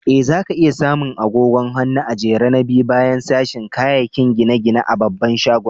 Eh, za ka iya samu agogon hannu a'jere na biyu baya sashin kayakin gine-gine a babban shagon.